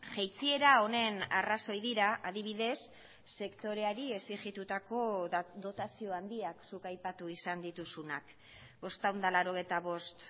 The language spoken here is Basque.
jaitsiera honen arrazoi dira adibidez sektoreari exigitutako dotazio handiak zuk aipatu izan dituzunak bostehun eta laurogeita bost